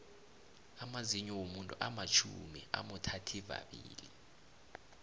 amazinyou womuntu amatjhumi amothathivabili